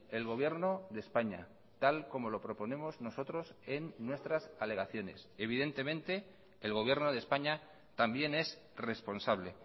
el gobierno de españa tal como lo proponemos nosotros en nuestras alegaciones evidentemente el gobierno de españa también es responsable